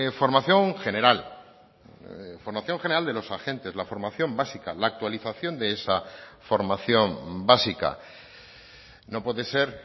formación general formación general de los agentes la formación básica la actualización de esa formación básica no puede ser